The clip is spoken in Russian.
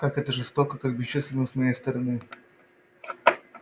как это жестоко как бесчувственно с моей стороны